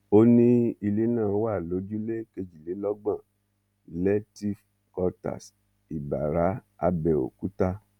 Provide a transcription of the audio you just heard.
ó ní ilé náà wà lójúlé kejìlélọgbọn lehtive quarters ìbàrá abẹòkúta